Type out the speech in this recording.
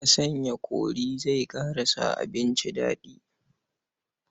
Haka sanya kori zai ƙara sa abinci daɗi.